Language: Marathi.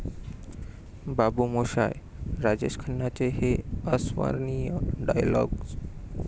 बाबू मोशाय...'राजेश खन्नांचे हे अविस्मरणीय डायलॉग्ज